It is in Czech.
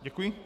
Děkuji.